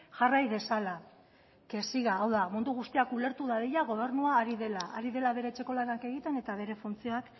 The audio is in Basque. jarrai dezala que siga hau da mundu guztiak ulertu dadila gobernua ari dela ari dela bere etxeko lanak egiten eta bere funtzioak